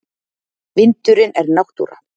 Vindurinn er náttúra.